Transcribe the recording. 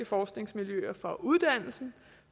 forskningsmiljøer for uddannelsen